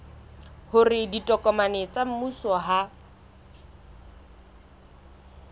hore ditokomane tsa mmuso ha